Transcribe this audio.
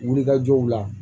Wulikajɔw la